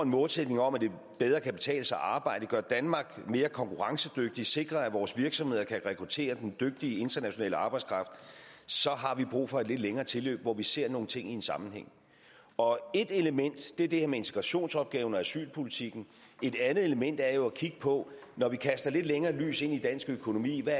målsætning om at det bedre kan betale sig at arbejde gøre danmark mere konkurrencedygtigt og sikre at vores virksomheder kan rekruttere den dygtige internationale arbejdskraft så har vi brug for et lidt længere tilløb hvor vi ser nogle ting i en sammenhæng og ét element er det her med integrationsopgaven og asylpolitikken et andet element er jo at kigge på når vi kaster et lidt længere lys ind i dansk økonomi hvad